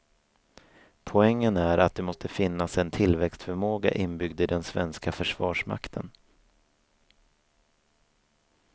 Poängen är att det måste finnas en tillväxtförmåga inbyggd i den svenska försvarsmakten.